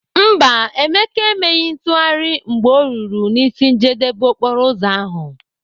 Mba, Emeka emeghị ntụgharị mgbe ọ ruru n'isi njedebe okporoụzọ ahụ.